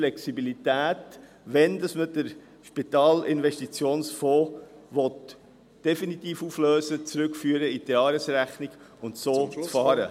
Wenn man den Spitalinvestitionsfonds definitiv auflösen will, erlaubt dies die gewünschte Flexibilität, um in die Jahresrechnung zurückzuführen und so zu fahren.